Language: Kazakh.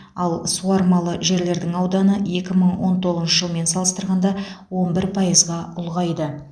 ал суармалы жерлердің ауданы екі мың он тоғызыншы жылмен салыстырғанда он бір пайызға ұлғайды